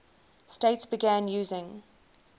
states began using